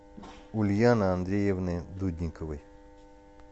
ульяны андреевны дудниковой